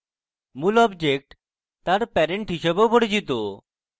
মূল object তার parent হিসাবেও পরিচিত